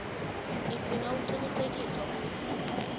udzinga kucinisekisa kutsi